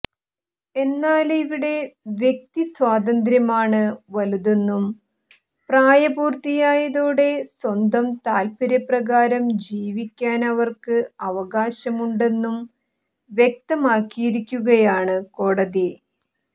എന്നാല് ഇവിടെ വ്യക്തിസ്വാതന്ത്ര്യമാണ് വലുതെന്നും പ്രായപൂര്ത്തിയായതോടെ സ്വന്തം താല്പര്യപ്രകാരം ജീവിക്കാന് അവര്ക്ക് അവകാശമുണ്ടെന്നും വ്യക്തമാക്കിയിരിക്കുകയാണ് കോടതി